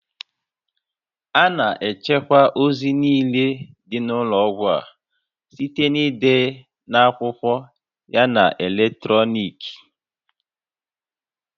A na-echekwa ozi niile dị n'ụlọọgwụ a site n'ide n'akwụkwọ yana na eletrọnịkị